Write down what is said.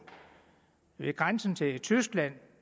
ved grænsen til tyskland